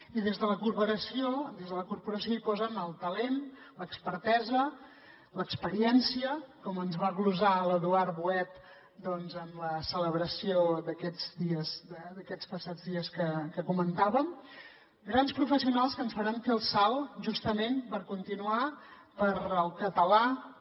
i des de la corporació hi posen el talent l’expertesa l’experiència com ens va glosar l’eduard boet en la celebració d’aquests dies d’aquests passats dies que comentàvem grans professionals que ens faran fer el salt justament per continuar pel català per